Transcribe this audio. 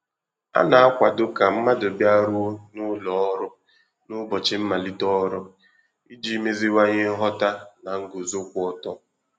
A na-akwàdo ka mmadụ bịaruo n’ụlọ ọrụ n’ụbọchị mmalite ọrụ, iji meziwanye nghọ̀tà na nguzo kwụ ọtọ.